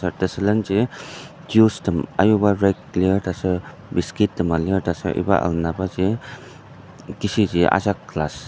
Taser tesülenji juice tem ayuba rack lir taser biscuit tema lir taser iba alna baji kishiji ajak glass .